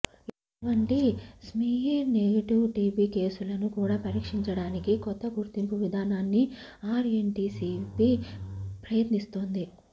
ఇటువంటి smear negative TB కేసులను కూడా పరీక్షించడానికి కొత్తగుర్తింపు విధానాన్ని ఆర్ఎన్టిసిపి ప్రయ త్నిస్తోంది